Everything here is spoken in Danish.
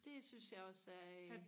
det synes jeg også er øh